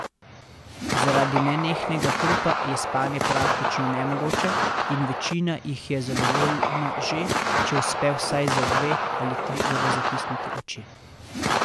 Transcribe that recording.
Zaradi nenehnega hrupa je spanje praktično nemogoče in večina jih je zadovoljna že, če uspe vsaj za dve, ali tri ure zatisniti oči.